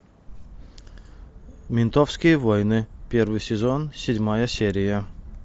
ментовские войны первый сезон седьмая серия